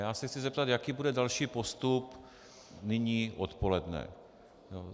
Já se chci zeptat, jaký bude další postup nyní odpoledne.